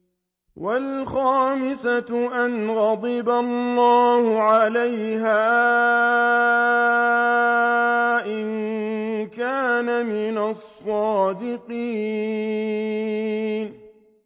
وَالْخَامِسَةَ أَنَّ غَضَبَ اللَّهِ عَلَيْهَا إِن كَانَ مِنَ الصَّادِقِينَ